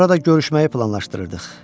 Orada görüşməyi planlaşdırırdıq.